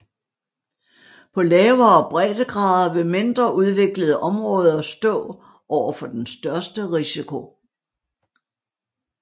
På lavere breddegrader vil mindre udviklede områder stå overfor den største risiko